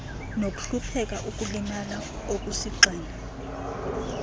nokuhlupheka ukulimala okusigxina